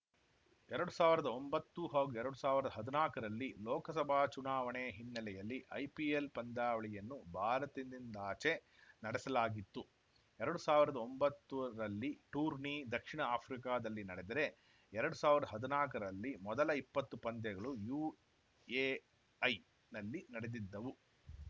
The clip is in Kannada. ಎರಡ್ ಸಾವಿರದ ಒಂಬತ್ತು ಹಾಗೂ ಎರಡ್ ಸಾವಿರದ ಹದಿನಾಲ್ಕರಲ್ಲಿ ಲೋಕಸಭಾ ಚುನಾವಣೆ ಹಿನ್ನೆಲೆಯಲ್ಲಿ ಐಪಿಎಲ್‌ ಪಂದ್ಯಾವಳಿಯನ್ನು ಭಾರತದಿಂದಾಚೆ ನಡೆಸಲಾಗಿತ್ತು ಎರಡ್ ಸಾವಿರದ ಒಂಬತ್ತು ರಲ್ಲಿ ಟೂರ್ನಿ ದಕ್ಷಿಣ ಆಫ್ರಿಕಾದಲ್ಲಿ ನಡೆದರೆ ಎರಡ್ ಸಾವಿರದ ಹದಿನಾಲ್ಕರಲ್ಲಿ ಮೊದಲ ಇಪ್ಪತ್ತು ಪಂದ್ಯಗಳು ಯುಎಐನಲ್ಲಿ ನಡೆದಿದ್ದವು